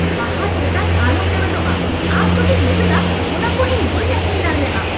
ᱵᱟᱦᱟ ᱪᱮᱛᱟᱱ ᱟᱞᱚᱢ ᱞᱮᱵᱮᱫᱚᱜᱼᱟ ! ᱟᱢ ᱡᱩᱫᱤᱢ ᱞᱮᱵᱮᱫᱟ ᱚᱱᱟᱠᱚ ᱤᱧ ᱵᱟᱹᱧ ᱟᱹᱠᱷᱨᱤᱧ ᱫᱟᱲᱮᱭᱟᱜᱼᱟ !